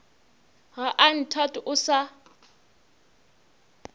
ga a nthate o sa